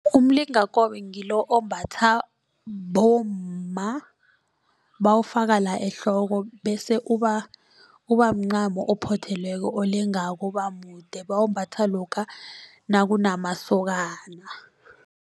Umlingakobe ngilo ombatha bomma bawufaka la ehloko bese ubamncamo ophothelweko olengako ubamude bawumbatha lokha nakunamasokana.